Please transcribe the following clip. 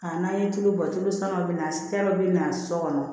Ka n'an ye tulu bɔ tulu sankɔrɔbana bɛ na so kɔnɔ